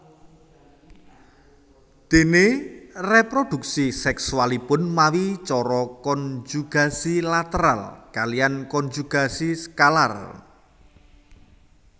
Déné réprodhuksi sèksualipun mawi cara konjugasi lateral kaliyan konjugasi skalar